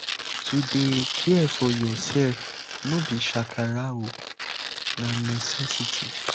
to dey care for yoursef no be shakara na necessity.